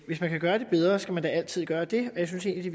hvis man kan gøre det bedre skal man da altid gøre det og jeg synes egentlig